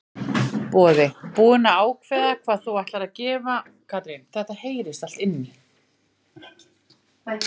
Boði: Búin að ákveða hvað þú ætlar að gefa svona þínum nánustu?